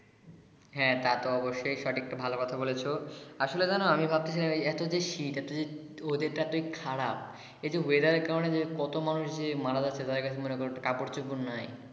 হ্যা তা তো অবশ্যিই সঠিক তো ভালো কথা বলেছো আসলে জানো আমি ভাবতেছি এতো যে শীত এতো যে weather টা এতোই খারাপ এটা weather কারণে যে কত মানুষ যে মারা যাচ্ছে মনে করো একটা কাপড় চোপড় নাই